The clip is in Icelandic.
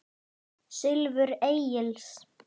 Silfur Egils